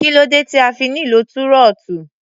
Kí ló dé tí a fi nílò túrọ́tù?